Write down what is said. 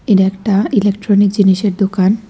এটা একটা ইলেকট্রনিক জিনিসের দোকান।